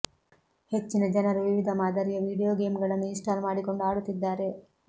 ಹೆಚ್ಚಿನ ಜನರು ವಿವಿಧ ಮಾದರಿಯ ವೀಡಿಯೋ ಗೇಮ್ಗಳನ್ನು ಇನ್ಸ್ಟಾಲ್ ಮಾಡಿಕೊಂಡು ಆಡುತ್ತಿದ್ದಾರೆ